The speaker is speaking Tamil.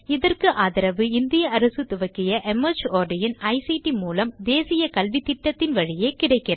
இதற்கு ஆதரவு இந்திய அரசு துவக்கிய மார்ட் இன் ஐசிடி மூலம் தேசிய கல்வித்திட்டத்தின் வழியே கிடைக்கிறது